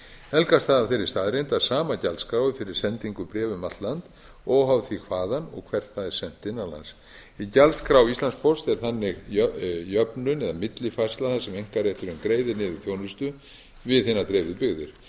helgast það af þeirri staðreynd að sama gjaldskrá fyrir sendingu bréfa um allt land óháð því hvaðan og hvert það er sent innan lands í gjaldskrá íslandspósts er þannig jöfnun eða millifærsla þar sem einkarétturinn greiðir niður þjónustu við hinar dreifðu byggðir